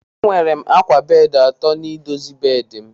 Enwere m akwa bedị atọ n'ịdozi bedị m.